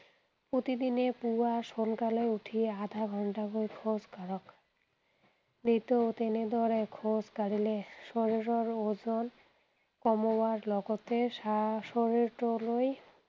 প্ৰতিদিনে পুৱা সোনকালে উঠি আধা ঘণ্টাকৈ খোজ কাঢ়ক। নিতৌ তেনেদৰে খোজ কাঢ়িলে শৰীৰৰ ওজন, কমাৰ লগতে শা শৰীৰটোলৈ